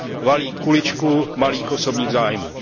valí kuličku malých osobních zájmů.